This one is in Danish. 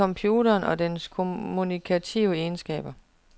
Vis computeren og dens kommunikative egenskaber.